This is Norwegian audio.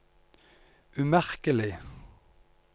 umerkelig